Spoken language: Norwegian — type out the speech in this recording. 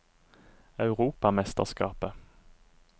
europamesterskapet